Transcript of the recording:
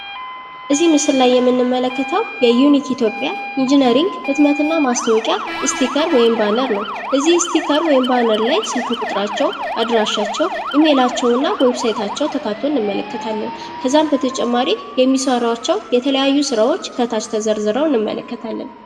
እዚህ ምስል ላይ የምንመለከተው የዩኒክ ኢትዮጵያ ኢንጅነሪንግ ህትመትና ማስታወቂያ አስቲከር ወይም ባነር ነው። እዚህ አስቲከር ወይም ባነር ላይ ስልክ ቁጥራቸው ፣ አድራሻቸው ፣ ኢሜላቸውና ዌብሳይታቸው ተካቶ እንመለከታለን። ከዛም በተጨማሪ የሚሰሯቸው የተለያዩ ስራዎች ከታች ተዘርዝርዝረው እንመለከታለን።